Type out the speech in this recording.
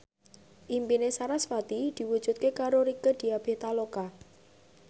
impine sarasvati diwujudke karo Rieke Diah Pitaloka